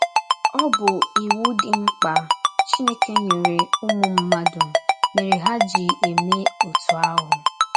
Ọ bụ iwu dị mkpa Chineke nyere ụmụ mmadụ mere ha ji eme otú ahụ.